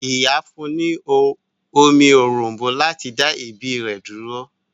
Ìyá fún ní omi òrom̀bó láti dá èébì rẹ̀ dúró.